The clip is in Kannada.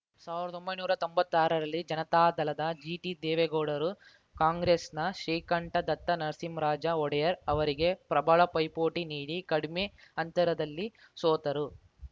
ಸಾವ್ರ್ದೊಂಬೈನೂರಾ ತೊಂಬತ್ತಾರರಲ್ಲಿ ಜನತಾದಳದ ಜಿಟಿದೇವೇಗೌಡರು ಕಾಂಗ್ರೆಸ್‌ನ ಶ್ರೀಕಂಠದತ್ತ ನರಸಿಂಹರಾಜ ಒಡೆಯರ್‌ ಅವರಿಗೆ ಪ್ರಬಲ ಪೈಪೋಟಿ ನೀಡಿ ಕಡಿಮೆ ಅಂತರದಲ್ಲಿ ಸೋತರು